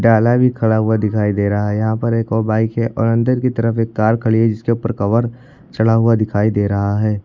ताला भी खड़ा हुआ दिखाई दे रहा है यहां पर एक और बाइक है और अंदर की तरफ एक कार खड़ी है जिसके ऊपर कवर चढ़ा हुआ दिखाई दे रहा है।